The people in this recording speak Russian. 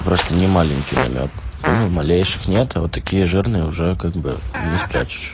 просто не маленький намёк понял малейших нет а вот такие жирные уже как бы не спрячешь